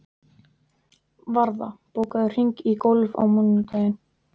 Varða, bókaðu hring í golf á mánudaginn.